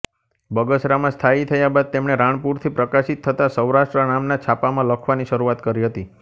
બગસરામાં સ્થાયી થયા બાદ તેમણે રાણપુરથી પ્રકાશીત થતાં સૌરાષ્ટ્ર નામનાં છાપામાં લખવાની શરુઆત કરી હતી